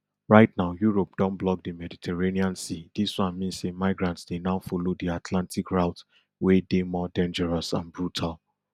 right now europe don block di mediterranean sea dis one mean say migrants dey now follow di atlantic route wey dey more dangerous and brutal